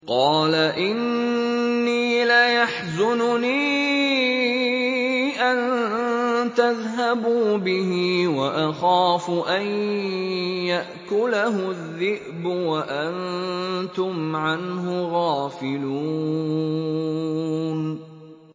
قَالَ إِنِّي لَيَحْزُنُنِي أَن تَذْهَبُوا بِهِ وَأَخَافُ أَن يَأْكُلَهُ الذِّئْبُ وَأَنتُمْ عَنْهُ غَافِلُونَ